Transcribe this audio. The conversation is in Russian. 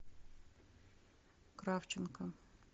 кравченко